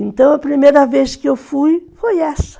Então a primeira vez que eu fui, foi essa.